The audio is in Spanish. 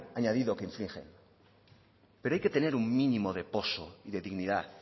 añadido que infligen pero hay que tener un mínimo de poso de dignidad